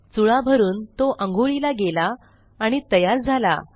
चुळा भरून तो आंघोळीला गेला आणि तयार झाला